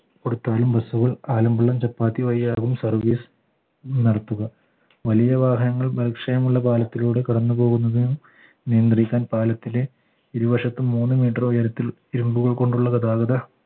കൊടുത്താലും bus കൾ ആലമ്പുള്ള ചപ്പാത്തി വഴിയാകും service നടത്തുക വലിയ വാഹനങ്ങൾ ബലക്ഷയം ഉള്ള പാലത്തിലൂടെ കടന്നു പോകുന്നതിന് നിയന്ത്രിക്കാൻ പാലത്തിലെ ഇരുവശത്തും മൂന്ന് meter ഉയരത്തിൽ ഇരുമ്പുകൾ കൊണ്ടുള്ള ഗതാഗത